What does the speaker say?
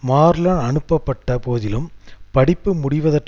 Marlon அனுப்பப்பட்ட போதிலும் படிப்பு முடிவதற்கு